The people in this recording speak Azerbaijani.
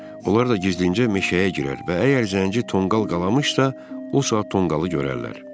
Onlar da gizlincə meşəyə girər və əgər Zənci tonqal qalamışsa, o saat tonqalı görərlər.